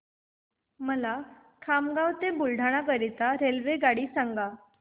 मला खामगाव ते बुलढाणा करीता रेल्वेगाडी सांगा